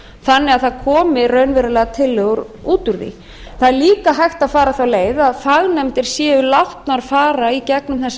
þannig að það komi raunverulegar tillögur út úr því það er líka hægt að fara þá leið að fagnefndir séu látnar fara í gegnum þessar skýrslur